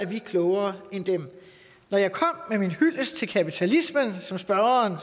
vi er klogere end dem når jeg kom med min hyldest til kapitalismen som spørgeren